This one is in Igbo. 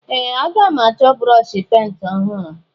Ee! Aga m achọ brọọshị penti ọhụrụ.